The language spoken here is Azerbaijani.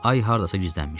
Ay hardasa gizlənmişdi.